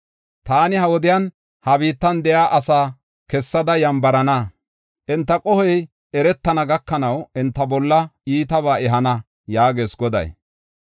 “Taani, ha wodiyan, ha biittan de7iya asaa kessada yambarana. Enta qohoy eretana gakanaw enta bolla iitabaa ehana” yaagees Goday.